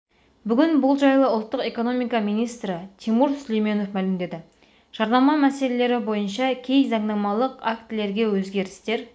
бүгін бұл жайлы ұлттық экономика министрі тимур сүлейменов мәлімдеді жарнама мәселелері бойынша кей заңнамалық актілерге өзгерістер